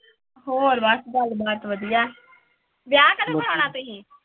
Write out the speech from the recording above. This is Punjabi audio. ਹੋਰ ਬਸ ਗੱਲਬਾਤ ਵਧੀਆ, ਵਿਆਹ ਕਦੋਂ ਕਰਵਾਉਣਾ ਤੁਸੀ?